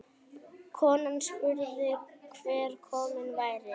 Konan spurði hver kominn væri.